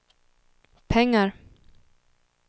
pengar